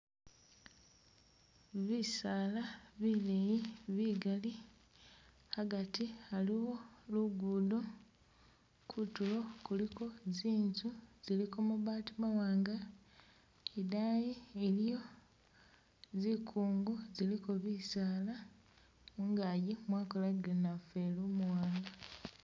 Bisala bileyi bigali hagati haliwo lugudo kutulo kuliko zinzu ziliko mabaati mawanga idayi iliyo zikungu ziliko bisaala mungagi mwakolagile namufeli umuwanga.